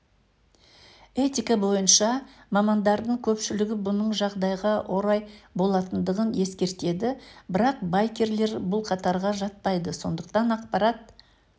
этика бойынша мамандардың көпшілігі бұның жағдайға орай болатындығын ескертеді бірақ байкерлер бұл қатарға жатпайды сондықтан ақпарат